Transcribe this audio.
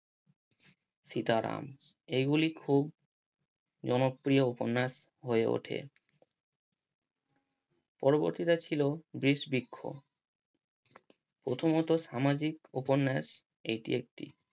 সীতারাম এগুলি খুব জনপ্রিয় উপন্যাস হয়ে ওঠে পরবর্তীটা ছিল বিষবৃক্ষ প্রথমত সামাজিক উপন্যাস এটি একটি